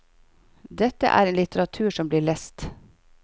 Dette er en litteratur som blir lest.